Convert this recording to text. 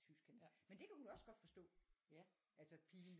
Tysk han men det kan hun også godt forstå altså pigen